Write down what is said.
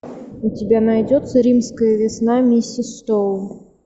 у тебя найдется римская весна миссис стоун